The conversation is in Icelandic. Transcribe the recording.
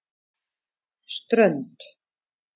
Strönd